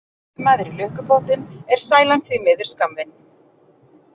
En detti maður í lukkupottinn er sælan því miður skammvinn.